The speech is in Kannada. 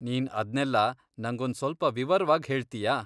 ನೀನ್ ಅದ್ನೆಲ್ಲ ನಂಗೊಂದ್ ಸ್ವಲ್ಪ ವಿವರವಾಗ್ ಹೇಳ್ತೀಯಾ?